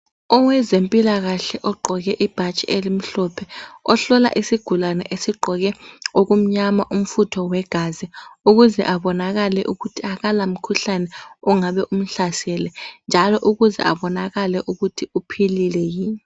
Owezempilakahle ogqoke ibhatshi elimhlophe ohlola isigulani esigqoke okumnyama umfutho wegazi ukuze abonakale umkhuhlane ongabe umhlasele njalo ukuze abonakale ukuthi uphilile yinii.